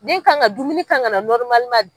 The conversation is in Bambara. Den kan ka na dumuni kan ka na .